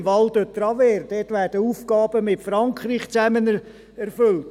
Im Val de Travers werden Aufgaben mit Frankreich zusammen erfüllt.